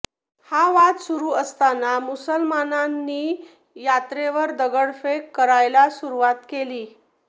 हा वाद सुरू असताना मुसलमानांनी यात्रेवर दगडफेक करायला सुरुवात केली